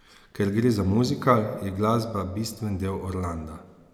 Ker gre za muzikal, je glasba bistveni del Orlanda.